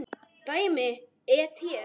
Dæmi: et.